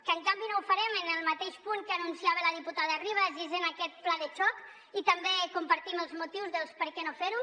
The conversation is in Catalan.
que en canvi no ho farem en el mateix punt que anuncia la diputada ribas i és en aquest pla de xoc i també compartim els motius del per què no fer ho